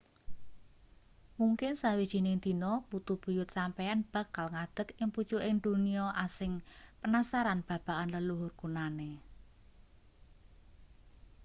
mungkin sawijining dina putu buyut sampeyan bakal ngadeg ing pucuking donya asing penasaran babagan leluhur kunane